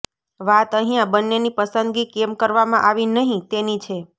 વાત અહીંયા બન્નેની પસંદગી કેમ કરવામાં આવી નહી તેની છે